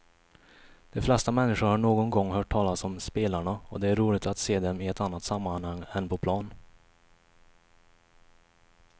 De flesta människor har någon gång hört talas om spelarna och det är roligt att se dem i ett annat sammanhang än på plan.